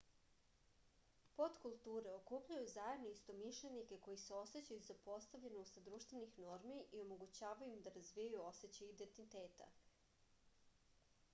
potkulture okupljaju zajedno istomišljenike koji se osećaju zapostavljeno usled društvenih normi i omogućavaju im da razvijaju osećaj indentiteta